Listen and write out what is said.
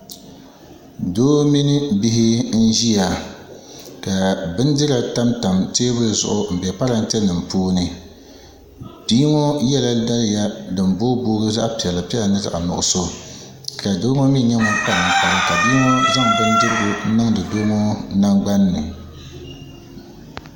Doo mini bihi n ʒiya ka bindira tamtam teebuli zuɣu n bɛ parantɛ nim puuni bia ŋo yɛla daliya din booi booi gi zaɣ piɛla piɛla ni zaɣ nuɣso ka doo ŋo mii nyɛ ŋun kpa ninkpara ka bia ŋo zaŋdi bindirigu ŋo niŋdi doo ŋo nangbani ni